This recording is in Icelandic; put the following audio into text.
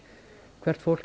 hvert fólk